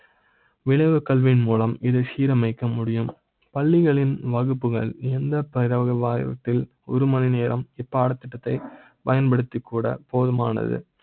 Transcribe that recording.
விளைவு கல்வி யின் மூலம் இதை சீரமைக்க முடியும். பள்ளிகளின் வகுப்புகள் எந்த பயிராக வாரத்தில் ஒரு மணி நேரம் ப் பாடத்திட்ட த்தை பயன்படுத்தி கூட போது மானது